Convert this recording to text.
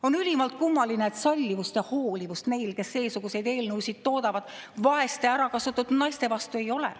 On ülimalt kummaline, et sallivust ja hoolivust neil, kes seesuguseid eelnõusid toodavad, vaeste ärakasutatud naiste vastu ei ole.